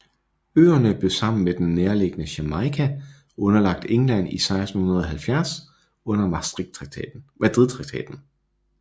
Øerne blev sammen med den nærliggende Jamaica underlagt England i 1670 under Madridtraktaten